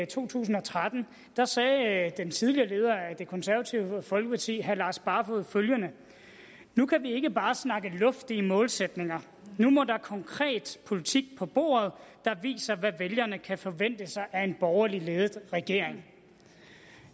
to tusind og tretten sagde den tidligere leder af det konservative folkeparti herre lars barfoed følgende nu kan vi ikke bare snakke luftige målsætninger nu må der konkret politik på bordet der viser hvad vælgerne kan forvente sig af en borgerligt ledet regering